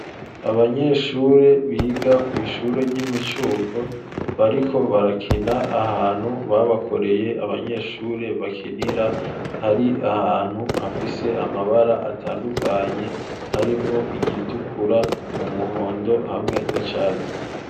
Abanyeshure biga kw'ishuro ry'imicuko bariko barakina ahantu babakoreye abanyeshure bakinira hari ahantu hafise amabara atandukanye harimwo igitukura umuhondo hamwe n'icatsi.